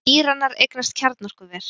Íranar eignast kjarnorkuver